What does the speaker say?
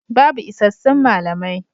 Babu isassun malamai.